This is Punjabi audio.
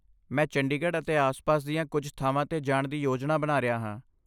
ਮੈਂ ਚੰਡੀਗੜ੍ਹ ਅਤੇ ਆਸ ਪਾਸ ਦੀਆਂ ਕੁੱਝ ਥਾਵਾਂ 'ਤੇ ਜਾਣ ਦੀ ਯੋਜਨਾ ਬਣਾ ਰਿਹਾ ਹਾਂ